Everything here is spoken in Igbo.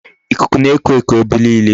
Ikuku na-eku eku ebe niile.